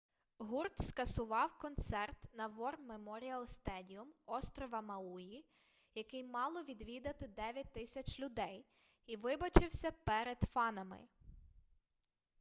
гурт скасував концерт на вор меморіал стедіум острова мауї який мало відвідати 9000 людей і вибачився перед фанами